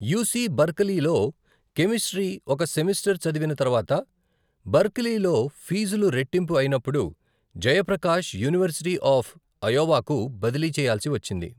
UC బర్కిలీలో chemistry ఒక semester చదివిన తర్వాత, బర్కిలీలో ఫీజులు రెట్టింపు అయినప్పుడు జయప్రకాష్ యూనివర్శిటీ ఆఫ్ అయోవాకు బదిలీ చేయాల్సి వచ్చింది.